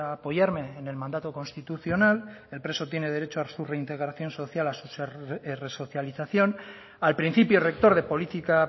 apoyarme en el mandato constitucional el preso tiene derecho a su reintegración social a su resocialización al principio rector de política